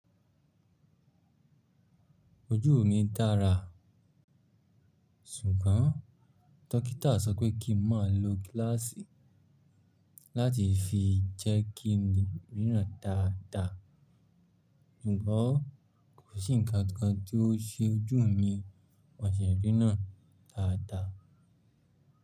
Ojú mi dára, sùgbọ́n dókítà sọ pé kí n má lo gíláàsì láti fi jẹ́kí ìrírí náà dáda. Jùbọ̀ kò sí ǹnkan kan tí ó ṣe ojú mi mo de ríran náà dáadáa.